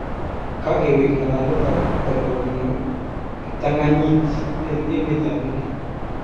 kakeweek ng'alalet ab korkoo konyoo kiptang'anyit eng emet ab India